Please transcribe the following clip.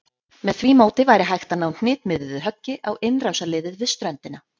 Með því móti væri hægt að ná hnitmiðuðu höggi á innrásarliðið við ströndina.